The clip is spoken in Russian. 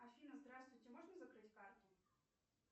афина здравствуйте можно закрыть карту